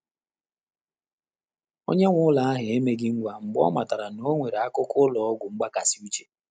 Ọ́nyé nwé ụ́lọ́ áhụ́ emeghị ngwá mgbè ọ́ màtàrà nà ọ́ nwèrè ákụ́kọ́ ụ́lọ́ ọ́gwụ́ mgbàkàsị́ úchè.